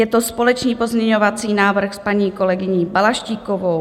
Je to společný pozměňovací návrh s paní kolegyní Balaštíkovou.